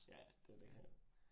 Ja ja, det det